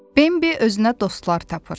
Bembi özünə dostlar tapır.